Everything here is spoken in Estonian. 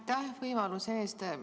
Aitäh võimaluse eest!